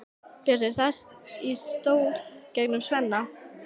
Bjössi sest í stól gegnt Svenna.